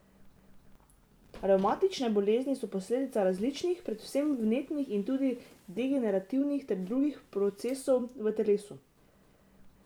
Revmatične bolezni so posledica različnih, predvsem vnetnih in tudi degenerativnih ter drugih procesov v telesu.